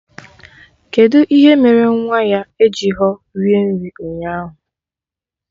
Kedụ ihe mere nwa ya ejighọ rie nri ụnyaahụ